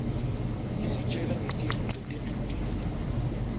isitjela ngetintfo letendlulile